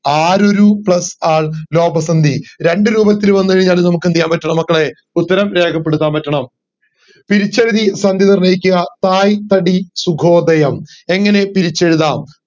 ആരൊരു plus ആൾ ലോഭ സന്ധി രണ്ടു രൂപത്തിൽ വന്ന് കഴിഞ്ഞാലും നമക്ക് എന്ത് ചെയ്യാൻ പറ്റണം മക്കളെ ഉത്തരം രേഖപ്പെടുത്താൻ പറ്റണം പിരിച്ചെഴുതി സന്ധി നിർണയിക്കുക സായി തടി സുഖോദയം എങ്ങനെ പിരിച്ചെഴുതാം